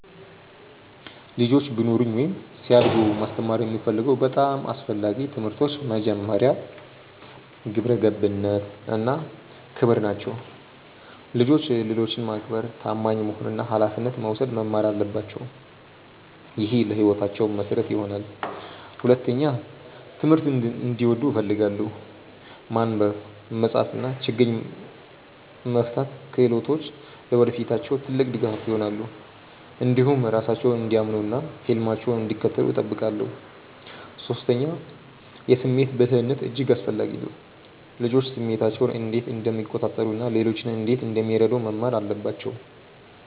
ልጆች ቢኖሩኝ ወይም ሲያድጉ ማስተማር የምፈልገው በጣም አስፈላጊ ትምህርቶች መጀመሪያ፣ ግብረ ገብነት እና ክብር ናቸው። ልጆች ሌሎችን ማክበር፣ ታማኝ መሆን እና ኃላፊነት መውሰድ መማር አለባቸው። ይህ ለሕይወታቸው መሠረት ይሆናል። ሁለተኛ፣ ትምህርትን እንዲወዱ እፈልጋለሁ። ማንበብ፣ መጻፍ እና ችግኝ መፍታት ክህሎቶች ለወደፊታቸው ትልቅ ድጋፍ ይሆናሉ። እንዲሁም ራሳቸውን እንዲያምኑ እና ህልማቸውን እንዲከተሉ እጠብቃለሁ። ሶስተኛ፣ የስሜት ብልህነት እጅግ አስፈላጊ ነው። ልጆች ስሜታቸውን እንዴት እንደሚቆጣጠሩ እና ሌሎችን እንዴት እንደሚረዱ መማር አለባቸው